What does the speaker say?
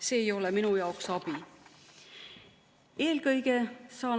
See ei ole minu jaoks abi.